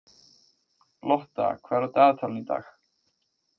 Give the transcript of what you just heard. Lotta, hvað er á dagatalinu í dag?